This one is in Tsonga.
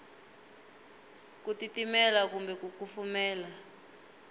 ku titimela kumbe ku kufumela